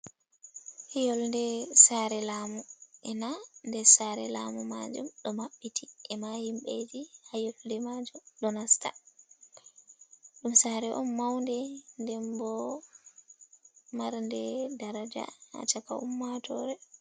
Younde sare lamu ena dessare lamu majum ɗo maɓɓiti, e ma himɓeji ha younde majum ɗo nasta. Ɗum sare on maunde nden bo mar nde daraja haa chaka ummatore.